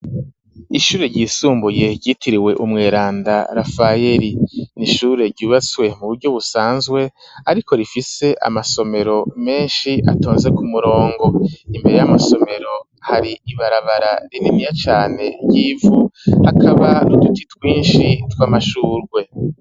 Ishure ryisumbuye ryitiriwe Umweranda Rafayeri ,n'ishure ryubatswe mu buryo busanzwe ,ariko rifise amasomero menshi atonze ku murongo, imbere y'amasomero hari ibarabara rininiya cane ry'ivu, hakaba n,uduti twinshi tw'amashurwe.